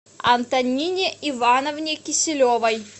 антонине ивановне киселевой